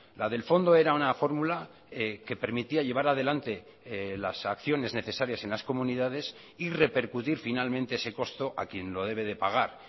la del fondo era una fórmula que permitía llevar adelante las acciones necesarias en las comunidades y repercutir finalmente ese costo a quien lo debe de pagar